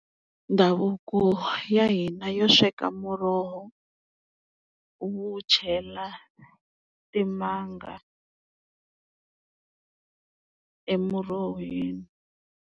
Ndhavuko ya hina yo sweka muroho wu chela timanga emurhoweni.